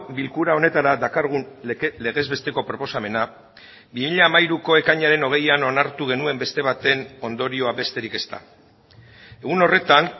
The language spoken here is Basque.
bilkura honetara dakargun legez besteko proposamena bi mila hamairuko ekainaren hogeian onartu genuen beste baten ondorioa besterik ez da egun horretan